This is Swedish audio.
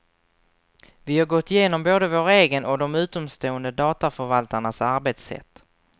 Vi har gått igenom både vår egen och de utomstående dataförvaltarnas arbetssätt.